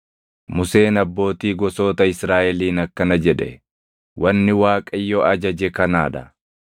Museen abbootii gosoota Israaʼeliin akkana jedhe: “Wanni Waaqayyo ajaje kanaa dha: